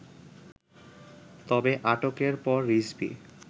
তবে, আটকের পর রিজভী